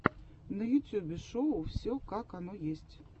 на ютюбе шоу все как оно есть